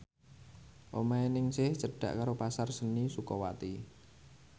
omahe Ningsih cedhak karo Pasar Seni Sukawati